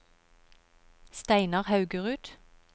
Steinar Haugerud